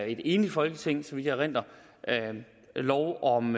et enigt folketing så vidt jeg erindrer lov om